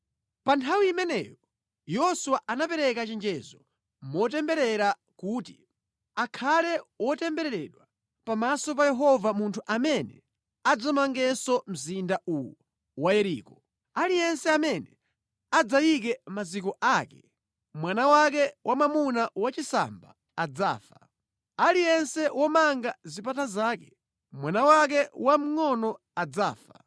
Pa nthawi imeneyo Yoswa anapereka chenjezo motemberera kuti, “Akhale wotembereredwa pamaso pa Yehova munthu amene adzamangenso mzinda uwu wa Yeriko: “Aliyense amene adzayike maziko ake, mwana wake wamwamuna wachisamba adzafa, aliyense womanga zipata zake mwana wake wamngʼono adzafa.”